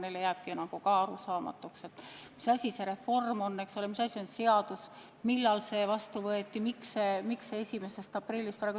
Neile jääb arusaamatuks, et on üks seadus, mis ammu vastu võeti, ja miks nüüd siis see segadus 1. aprillist peale.